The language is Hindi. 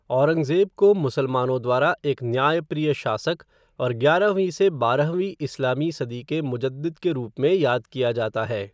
औरंगज़ेब को मुसलमानों द्वारा एक न्यायप्रिय शासक और ग्यारहवीं से बारहवीं इस्लामी सदी के मुजद्दिद के रूप में याद किया जाता है।